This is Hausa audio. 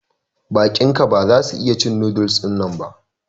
Baƙin ka ba za su iya cin noodles dinnan ba.